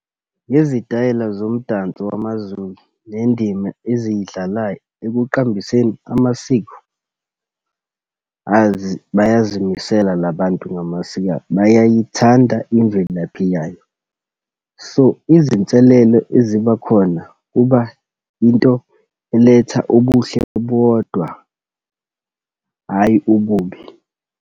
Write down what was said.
Ngezitayela zomdanso wamaZulu, nendima eziyidlalayo ekuqambiseni amasiko, azi bayazimisele la bantu ngamasiko abo. Bayayithanda imvelaphi yayo. So, izinselelo ezibakhona kuba into eletha obuhle bodwa, hhayi ububi.